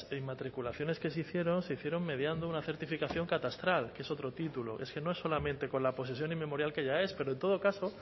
inmatriculaciones que se hicieron se hicieron mediando una certificación catastral que es otro título es que no es solamente con la posesión inmemorial que ya es pero en todo caso